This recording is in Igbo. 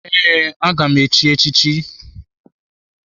Ee, aga m echi echi chi.